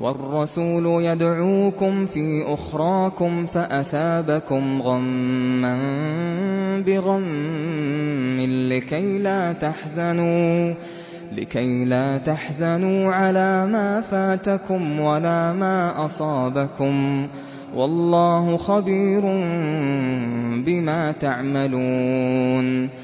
وَالرَّسُولُ يَدْعُوكُمْ فِي أُخْرَاكُمْ فَأَثَابَكُمْ غَمًّا بِغَمٍّ لِّكَيْلَا تَحْزَنُوا عَلَىٰ مَا فَاتَكُمْ وَلَا مَا أَصَابَكُمْ ۗ وَاللَّهُ خَبِيرٌ بِمَا تَعْمَلُونَ